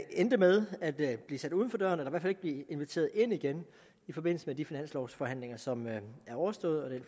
endte med at blive sat uden for døren eller ikke blev inviteret ind igen i forbindelse med de finanslovforhandlinger som er overstået og det